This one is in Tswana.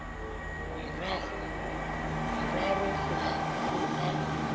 mararo go ya go a